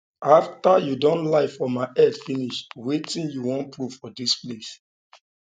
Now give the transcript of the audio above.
after um you don um lie for my head finish wetin you wan proof for dis place